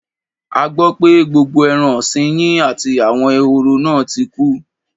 A gbọ́ pé gbogbo ẹran ọ̀sin yín àti àwọn ehoro náà ti kú.